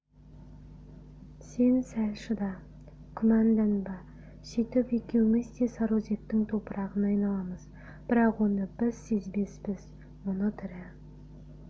сен сәл шыда күмәнданба сөйтіп екеуміз де сарыөзектің топырағына айналамыз бірақ оны біз сезбеспіз мұны тірі